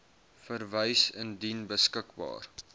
verwys indien beskikbaar